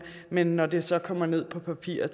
men når det så kommer ned på papir og